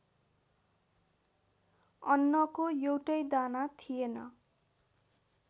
अन्नको एउटै दाना थिएन।